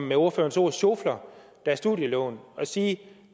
med ordførerens ord sjofler deres studielån at sige